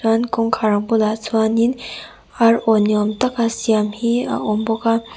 chuan kawngkhar bulah chuanin arawn ni awm taka siam hi a awm bawk a.